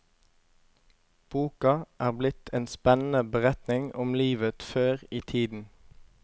Boka er blitt en spennende beretning om livet før i tiden.